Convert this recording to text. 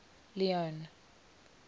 leone